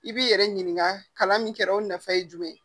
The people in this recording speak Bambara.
I b'i yɛrɛ ɲininka kalan min kɛra o nafa ye jumɛn ye